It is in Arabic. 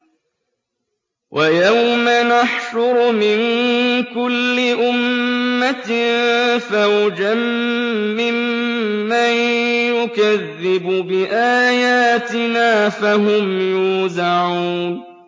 وَيَوْمَ نَحْشُرُ مِن كُلِّ أُمَّةٍ فَوْجًا مِّمَّن يُكَذِّبُ بِآيَاتِنَا فَهُمْ يُوزَعُونَ